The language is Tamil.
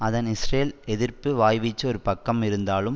அதன் இஸ்ரேல்எதிர்ப்பு வாய்வீச்சு ஒரு பக்கம் இருந்தாலும்